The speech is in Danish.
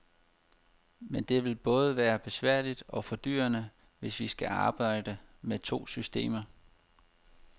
Men det vil både være besværligt og fordyrende, hvis vi skal arbejde med to systemer.